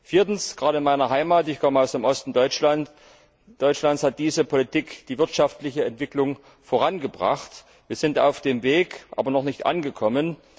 Viertens Gerade in meiner Heimat ich komme aus dem Osten Deutschlands hat diese Politik die wirtschaftliche Entwicklung vorangebracht. Wir sind auf dem Weg, aber noch nicht angekommen.